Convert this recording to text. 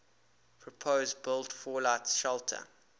purpose built fallout shelter